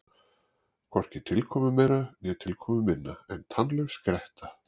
Hvorki tilkomumeira né tilkomuminna en tannlaus gretta.